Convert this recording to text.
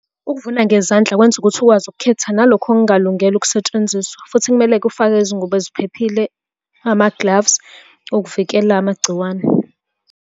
Ukuvuna ngezandla kwenza ukuthi ukwazi ukukhetha nalokho okungalungele ukusetshenziswa, futhi kumele kufakwe izingubo eziphephile, ama-gloves ukuvikela amagciwane.